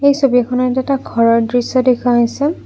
ছবিখনত এটা ঘৰৰ দৃশ্য দেখুওৱা হৈছে।